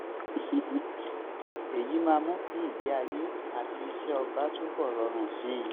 èyí máa mú kí ìgbé-ayé àti iṣẹ́ ọba túbọ̀ rọrùn sí i